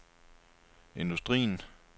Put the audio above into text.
industrien